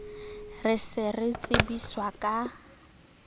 re se re tsebiswa ka